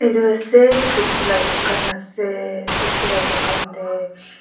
etu ase sobji laga dukan ase sobji laga dukan te.